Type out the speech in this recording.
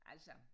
Altså